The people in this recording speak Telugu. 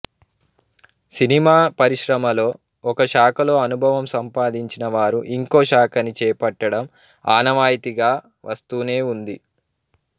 సినిమా పరిశ్రమలో ఒక శాఖలో అనుభవం సంపాదించినవారు ఇంకో శాఖని చేపట్టడం ఆనవాయితీగా వస్తూనేవుంది